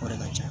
O de ka ca